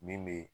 Min be